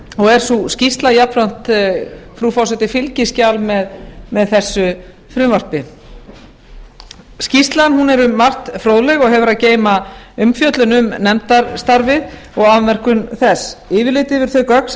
er sú skýrsla jafnframt frú forseti fylgiskjal með þessu frumvarpi skýrslan er um margt fróðleg og hefur að geyma umfjöllun um nefndarstarfið og afmörkun þess yfirlit yfir þau gögn sem